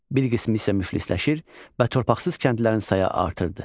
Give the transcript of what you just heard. Bir qismi isə müflisləşir və torpaqsız kəndlilərin sayı artırdı.